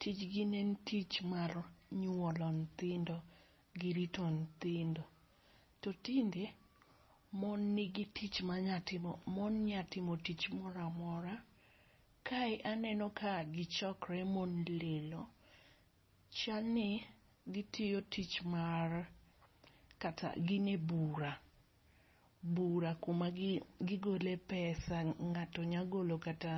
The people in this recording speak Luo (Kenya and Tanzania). tij gi ne en nyuolo nyithindo gi rito nyithindo. To tinde mon ni gi tich ma nya timo mon nya timo tich moro amora. kae aneno ka gi chokre mon lilo chal ni gi tiyo tich mar kata gin e bura, bura ku ma gi gole pesa ng'ato nya golo kata